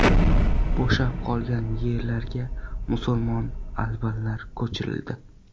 Bo‘shab qolgan yerlarga musulmon albanlar ko‘chirildi.